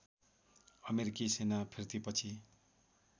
अमेरिकी सेना फिर्तीपछि